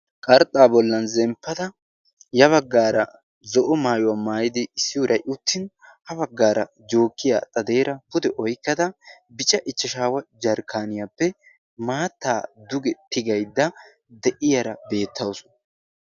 Qarxxaa bollan zemppada ya baggaara zo'o maayuwaa maayidi issi uuray uttin ha baggaara jookiya xadeera pude oykkada bica ichchashaawa jarkkaaniyaappe maattaa duge tigaydda deyiyaara beettausu.